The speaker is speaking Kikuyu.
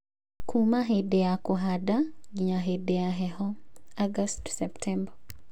Kuuma hĩndĩ ya kũhanda nginya hĩndĩ ya heho (ago-sept).